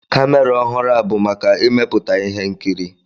Kamera ọhụrụ a bụ maka ịmepụta ihe nkiri.